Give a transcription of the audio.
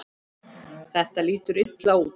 Þetta lítur illa út.